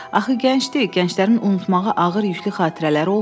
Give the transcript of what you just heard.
Axı gəncdir, gənclərin unutmağa ağır yüklü xatirələri olmur.